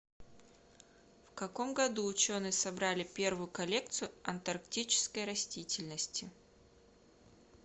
в каком году ученые собрали первую коллекцию антарктической растительности